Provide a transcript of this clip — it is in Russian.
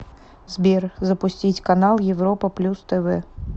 сбер запустить канал европа плюс тв